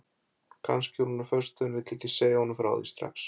Kannski er hún á föstu en vill ekki segja honum frá því strax.